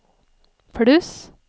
pluss